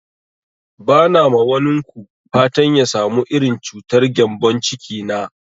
Ba na ma wanin ku fatan ya samu irin cutar gembon ciki na